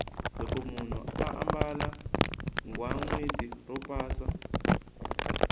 loko munhu ambala ghaweni ro pasa